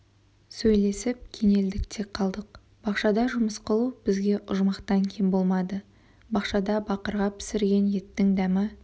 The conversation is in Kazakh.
сөйлесіп кенелдік те қалдық бақшада жұмыс қылу бізге ұжмақтан кем болмады бақшада бақырға пісірген еттің дәмі